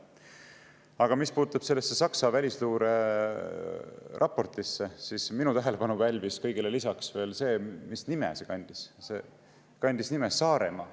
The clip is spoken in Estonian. Aga mis puutub sellesse Saksa välisluureraportisse, siis minu tähelepanu pälvis kõigele lisaks see, mis nime see kandis – see kandis nime Saaremaa.